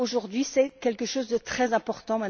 Aujourd'hui, c'est quelque chose de très important.